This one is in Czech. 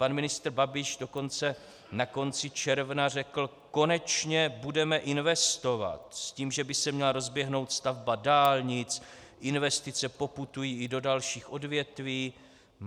Pan ministr Babiš dokonce na konci června řekl: konečně budeme investovat, s tím, že by se měla rozběhnout stavba dálnic, investice poputují i do dalších odvětví.